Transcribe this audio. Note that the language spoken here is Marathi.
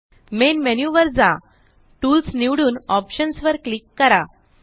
मेन मेन्यु वर जा टूल्स निवडून Optionsवर क्लिक करा